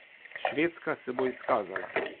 Švedska se bo izkazala.